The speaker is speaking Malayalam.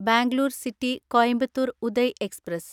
Bangalore city Coimbatore Uday express